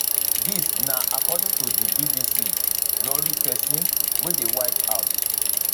dis na according to di bbc rori pesin wey dey white house